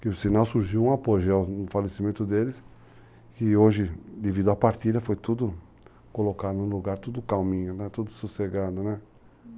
Que o sinal surgiu um apogeu no falecimento deles, que hoje, devido à partilha, foi tudo colocado no lugar, tudo calminho, tudo sossegado, né?